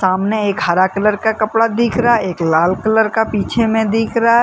सामने एक हरा कलर का कपड़ा दिख रहा है। एक लाल कलर का पीछे में दिख रहा है।